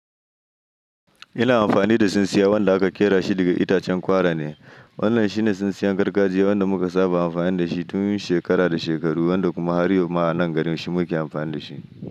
Ina amfani da tsintsiya wanda aka ƙera shi daga itacen kwara ne. Wannan shine tsintsiyan gargajiya wanda muka saba amfani da shi tun shekara da shekaru, wanda kuma har yau ma a nan garin shi muke amfani da shi.